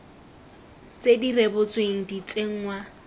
tse di rebotsweng di tsenngwa